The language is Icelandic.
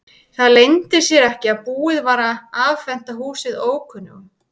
Það leyndi sér ekki að búið var að afhenda húsið ókunnugum.